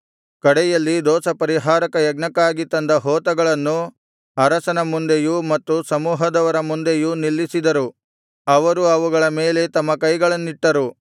ಕಡೆಯಲ್ಲಿ ದೋಷಪರಿಹಾರಕ ಯಜ್ಞಕ್ಕಾಗಿ ತಂದ ಹೋತಗಳನ್ನು ಅರಸನ ಮುಂದೆಯೂ ಮತ್ತು ಸಮೂಹದವರ ಮುಂದೆಯೂ ನಿಲ್ಲಿಸಿದರು ಅವರು ಅವುಗಳ ಮೇಲೆ ತಮ್ಮ ಕೈಗಳನ್ನಿಟ್ಟರು